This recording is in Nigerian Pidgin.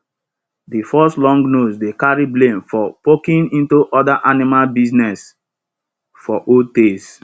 de fox long nose dey carry blame for poking into other animal business for old tales